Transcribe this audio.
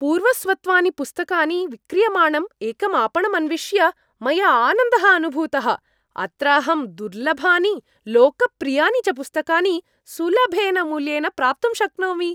पूर्वस्वत्वानि पुस्तकानि विक्रियमाणं एकं आपणम् अन्विष्य मया आनन्दः अनुभूतः। अत्र अहं दुर्लभानि लोकप्रियानि च पुस्तकानि सुलभेन मूल्येन प्राप्तुं शक्नोमि।